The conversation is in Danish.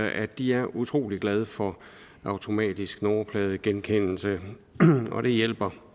at de er utrolig glade for automatisk nummerpladegenkendelse og det hjælper